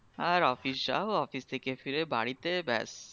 আর office যাও office থেকে ফিরে বাড়িতে ব্যাস